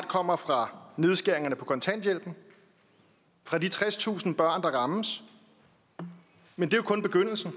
kommer fra nedskæringerne på kontanthjælpen fra de tredstusind børn der rammes men det er kun begyndelsen